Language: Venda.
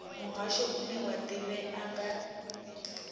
muhasho une wa ḓivhea nga